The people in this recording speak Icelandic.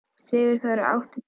Sigurþór, áttu tyggjó?